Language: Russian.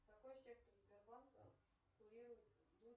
какой сектор сбербанка курирует